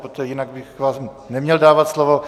Protože jinak bych vám neměl dávat slovo.